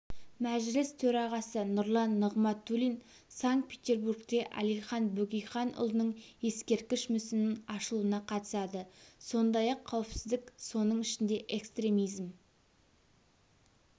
мәжіліс төрағасы нұрлан нығматулин санкт-петербургте әлихан бөкейханұлының ескерткіш мүсінінің ашылуына қатысады сондай-ақ қауіпсіздік соның ішінде экстремизм